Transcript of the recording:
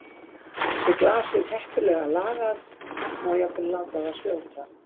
Sé glasið heppilega lagað má jafnvel láta það fljóta.